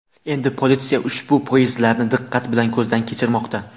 Endi politsiya ushbu poyezdlarni diqqat bilan ko‘zdan kechirmoqda.